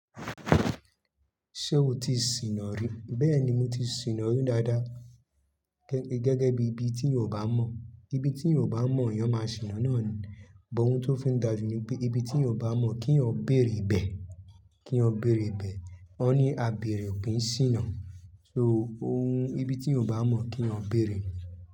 Ṣé o ti sìnà rí? Bẹ́ẹ̀ni, mo ti sìnà rí dáadáa. Gẹ́gẹ́ bí ibi tí yan ò bá mọ̀, ibi tí yan ò bá mọ̀, eyan máa sìnà náà ni. Bọ ohun tó fi ń dàjú ni pé ibi tí yan óò bá mọ̀ kí yan bèrè bẹ̀, kí yan bèrè bẹ̀. Ọ ní á bèrè, ó kì í sìnà. So ohun, ibi tí yan o bá mọ̀ kí yan bèrè.